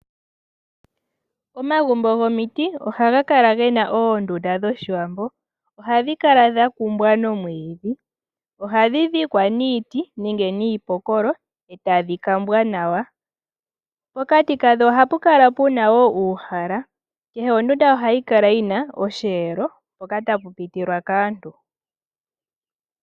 Omagumbo gomiti ohaga kala ge na oondunda dhoshiwambo. Ohadhi kala dha kumbwa nomwiidhi noku dhikwa niiti nenge niipokolo dho tadhi kambwa nawa. Pokati kadho oha pu kala pu na omahala nakehe ondunda ohayi kala yi na osheelo mpoka hapu pitilwa kaantu.